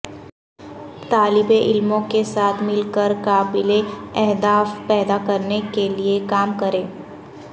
طالب علموں کے ساتھ مل کر قابل اہداف پیدا کرنے کے لئے کام کریں